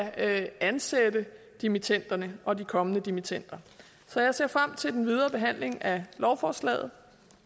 ansætte dimittenderne og de kommende dimittender så jeg ser frem til den videre behandling af lovforslaget